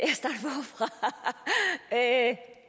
at